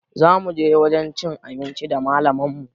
Zamu je wajen cin abinci da malaman mu